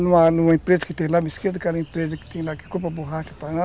Numa, numa empresa que tem lá que compra borracha